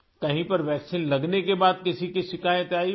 کہیں پر ویکسین لگنے کے بعد کسی کی شکایت آئی